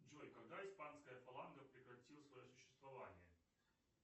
джой когда испанская фаланга прекратила свое существование